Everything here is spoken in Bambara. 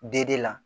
D de la